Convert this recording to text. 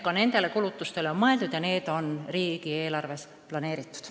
Ka nendele kulutustele on mõeldud ja need on riigieelarves planeeritud.